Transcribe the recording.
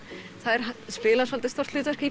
þær spila svolítið stórt hlutverk í